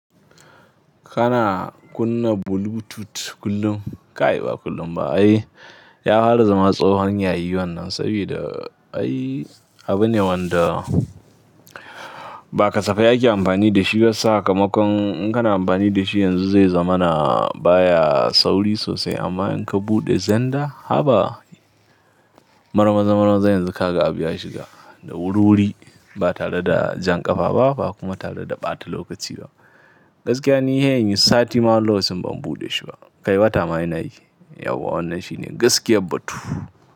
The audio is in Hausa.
Kana kunna Bluetooth kullum? Kai ba kullum ba. Ai ya hwara zama tsohon yayi wannan, sabida ai abu ne wanda ba kasafai ake amfani da shi ba. Sakamakon in kana amfani da shi yanzu zai zama na baya sauri sosai. Amma in ka buɗe zender, haba mar maza mar maza yanzu ka ga abu ya shiga da wuri wuri ba tare da jan ƙafa ba, ba kuma tare da ɓata lokaci ba. Gaskiya ni he in yi sati ma wani lokacin ban buɗe shi ba. Kai wata ma ina yi yau yau wannan shine gaskiyar batu.